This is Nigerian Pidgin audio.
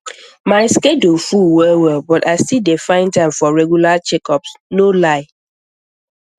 my schedule full wellwell but i still dey find time for regular checkups no lie